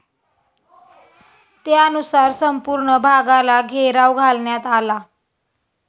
त्यानुसार संपूर्ण भागाला घेराव घालण्यात आला.